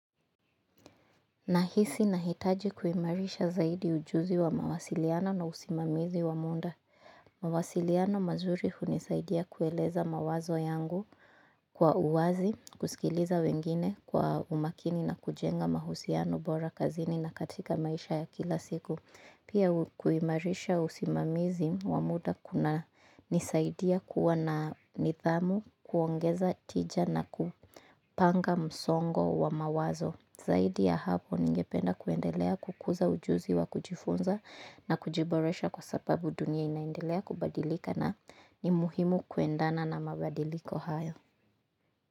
Nahisi nahitaji kuimarisha zaidi ujuzi wa mawasiliano na usimamizi wa munda. Mawasiliano mazuri hunisaidia kueleza mawazo yangu kwa uwazi, kusikiliza wengine kwa umakini na kujenga mahusiano bora kazini na katika maisha ya kila siku. Pia kuimarisha usimamizi wa muda kunanisaidia kuwa na nidhamu, kuongeza tija na kupanga msongo wa mawazo. Zaidi ya hapo ningependa kuendelea kukuza ujuzi wa kujifunza na kujiboresha kwa sababu dunia inaendelea kubadilika na ni muhimu kuendana na mabadiliko hayo.